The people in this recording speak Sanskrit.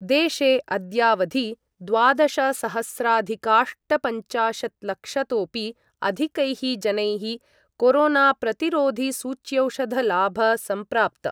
देशे अद्यावधि द्वादशसहस्राधिकाष्टपञ्चाशत्लक्षतोपि अधिकैः जनैः कोरोनाप्रतिरोधिसूच्यौषधलाभ सम्प्राप्त।